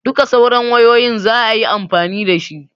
Duka sauran wayoyin zaayi amfani dashi